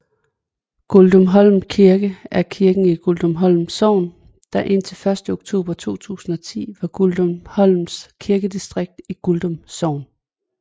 Gudumholm Kirke er kirken i Gudumholm Sogn der indtil 1 oktober 2010 var Gudumholm Kirkedistrikt i Gudum Sogn